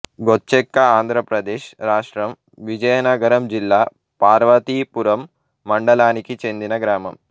గొచెక్కఆంధ్ర ప్రదేశ్ రాష్ట్రం విజయనగరం జిల్లా పార్వతీపురం మండలానికి చెందిన గ్రామం